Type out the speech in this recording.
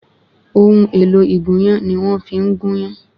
Ohun èlò ìgúnyán ni wọ́n fi ń gúnyán